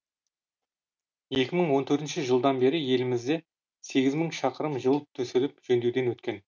екі мың он төртінші жылдан бері елімізде сегіз мың шақырым жол төселіп жөндеуден өткен